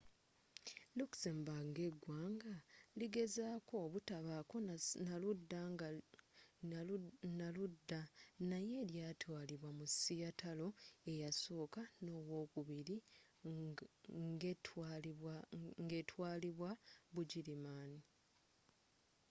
luxembourg nga eggwanga ligezezaako obutabaako na ludda naye lyaatwalibwa mu sseatalo eyasooka n'owookubiri ng'etwaalibwa bugirimaani